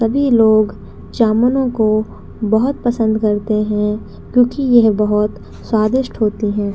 सभी लोग जामुनों को बहुत पसंद करते हैं क्योंकि यह बहुत स्वादिष्ट होते हैं।